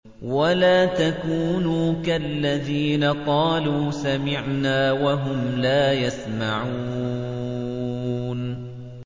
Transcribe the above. وَلَا تَكُونُوا كَالَّذِينَ قَالُوا سَمِعْنَا وَهُمْ لَا يَسْمَعُونَ